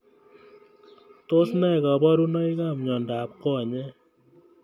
Tos ne kaburunoik ab mnyendo ab konyek?